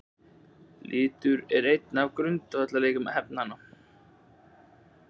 Litur er einn af grundvallareiginleikum efnanna.